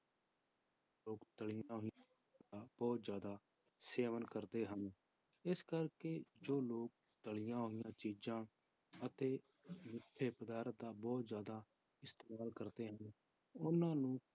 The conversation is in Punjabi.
ਤਲੀਆਂ ਹੋਈਆਂ ਬਹੁਤ ਜ਼ਿਆਦਾ ਸੇਵਨ ਕਰਦੇ ਹਨ, ਇਸ ਕਰਕੇ ਜੋ ਲੋਕ ਤਲੀਆਂ ਹੋਈਆਂ ਚੀਜ਼ਾਂ ਅਤੇ ਮਿੱਠੇ ਪਦਾਰਥ ਦਾ ਬਹੁਤ ਜ਼ਿਆਦਾ ਇਸਤੇਮਾਲ ਕਰਦੇ ਹਨ, ਉਹਨਾਂ ਨੂੰ